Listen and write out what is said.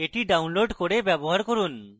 এটি download করে ব্যবহার করুন